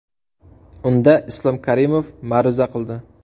Unda Islom Karimov ma’ruza qildi.